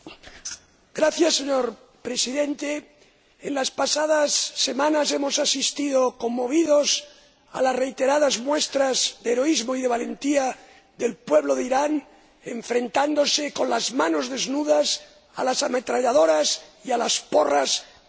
Señor Presidente, en las pasadas semanas hemos asistido, conmovidos, a las reiteradas muestras de heroísmo y de valentía del pueblo de Irán, enfrentándose, con las manos desnudas, a las ametralladoras y a las porras de sus verdugos.